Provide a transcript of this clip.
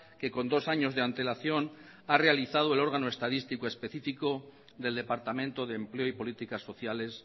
que con dos años de antelación ha realizado el órgano estadístico específico del departamento de empleo y políticas sociales